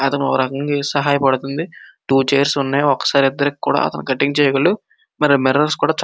అతనికి ఒక రకంగా సహాయ పడుతుంది. టూ చైర్స్ ఉన్నాయి. ఒకసారి ఇద్దరికి కూడా కటింగ్ చేయగలడు. మరి మిర్రొర్స్ కూడా చక --